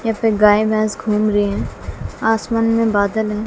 यहां पे गाय भैंस घूम रही हैं आसमान में बादल हैं।